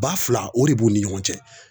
Ba fila o de b'u ni ɲɔgɔn cɛ.